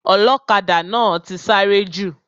Ọlọ́kadà náà ti sáré jù.